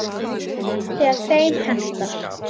Þegar þeim hentar.